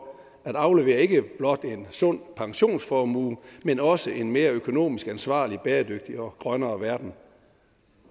at aflevere ikke blot en sund pensionsformue men også en mere økonomisk ansvarlig bæredygtig og grønnere verden